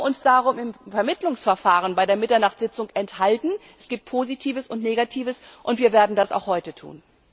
Wir haben uns deswegen im Vermittlungsverfahren bei der Mitternachtssitzung der Stimme enthalten es gibt Positives und Negatives und wir werden das auch heute tun.